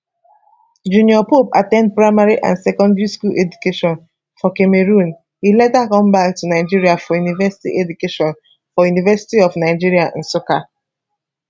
junior pope at ten d primary and secondary school education for cameroon e later come back to nigeria for university education for university of nigeria nsukka